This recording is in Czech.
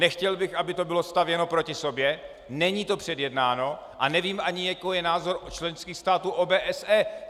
Nechtěl bych, aby to bylo stavěno proti sobě, není to předjednáno a nevím ani, jaký je názor členských států OBSE.